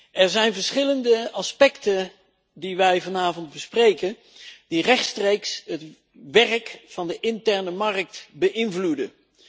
Er zijn verschillende aspecten die wij vanavond bespreken, die rechtstreeks het werk van de interne markt beïnvloeden.